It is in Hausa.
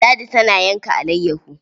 Ladi tana yanka alayyaho.